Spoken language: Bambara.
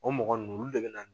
O mɔgɔ ninnu olu de bɛ na